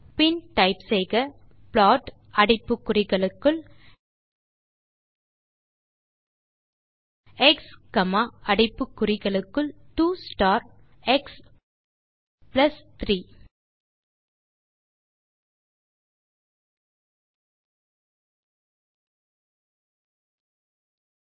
பின் type செய்க plot அடைப்பு குறிகளுக்குள் எக்ஸ் காமா அடைப்பு குறிகளுக்குள் 2 ஸ்டார் எக்ஸ் பிளஸ் 3